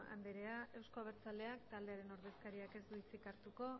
andrea euzko abertzaleak taldearen ordezkariak ez du hitzik hartuko